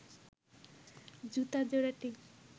জুতা জোড়াটি